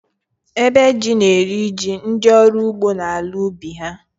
Ébè jí na-eri jí ndị ọrụ ugbo n’ala ubi ha